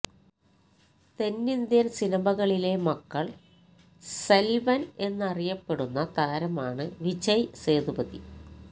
തെന്നിന്ത്യന് സിനിമയിലെ മക്കള് സെല്വന് എന്ന് അറിയപ്പെടുന്ന താരമാണ് വിജയ് സേതുപതി